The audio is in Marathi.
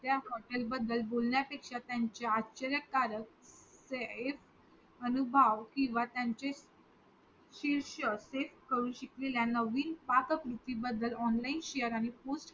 त्या हॉटेल बदल बोलण्या पेक्षा त्यांच्या आश्यर्य कारक safe अनुभव किंवा त्यांचे शीषर्क तेच करून शिकलेल्या नवीन पाककलेत कृती बदल online Share and post